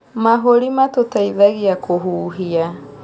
Mahũri matũteithagia kũhuhia